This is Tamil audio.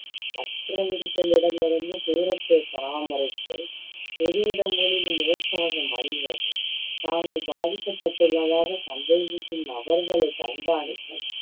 மற்றவர்களிடமிருந்து தூரத்தை பராமரித்தல், பொது இடங்களில் முகக்கவசம் அணிவது, தாங்கள் பாதிக்கப்பட்டுள்ளதாக சந்தேகிக்கும் நபர்களைக் கண்காணித்தல்